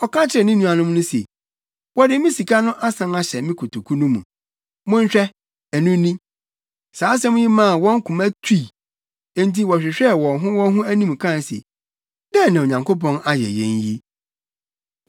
Ɔka kyerɛɛ ne nuanom no se, “Wɔde me sika no asan ahyɛ me kotoku no mu. Monhwɛ. Ɛno ni!” Saa asɛm yi maa wɔn koma tutui. Enti wɔhwehwɛɛ wɔn ho wɔn ho anim kae se, “Dɛn na Onyankopɔn ayɛ yɛn yi?”